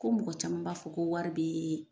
Ko mɔgɔ caman b'a fɔ ko wari be